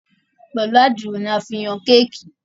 Pẹlú Àdìrò ní a fí ǹ Yàn Kéèkì.